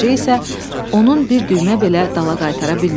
Qoca isə onun bir düymə belə dala qaytara bilmirdi.